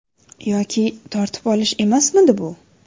Yoki tortib olish emasmidi bu?